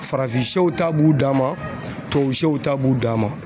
Farafinsɛw ta b'u danma tubabusɛw ta b'u dama.